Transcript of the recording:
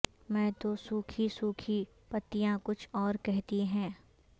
میں تو سوکھی سوکھی پتیاں کچھ اور کہتی ہیں